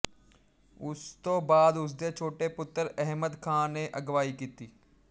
ਉਸ ਤੋਂ ਬਾਅਦ ਉਸਦੇ ਛੋਟੇ ਪੁੱਤਰ ਅਹਿਮਦ ਖਾਂ ਨੇ ਅਗਵਾਈ ਕੀਤੀ